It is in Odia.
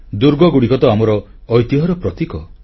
ଦୁର୍ଗଗୁଡ଼ିକ ତ ଆମର ଐତିହ୍ୟର ପ୍ରତୀକ